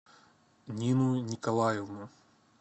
нину николаевну